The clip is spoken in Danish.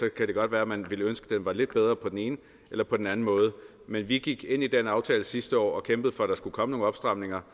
kan det godt være at man ville ønske at den var lidt bedre på den ene eller på den anden måde men vi gik ind i den aftale sidste år og kæmpede for at der skulle komme nogle opstramninger